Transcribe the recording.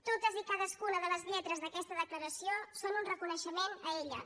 totes i cadascuna de les lletres d’aquesta declaració són un reconeixement a elles